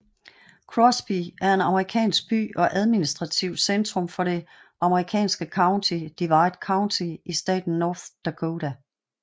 Crosby er en amerikansk by og administrativt centrum for det amerikanske county Divide County i staten North Dakota